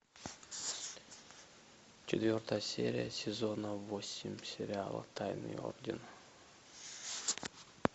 четвертая серия сезона восемь сериала тайный орден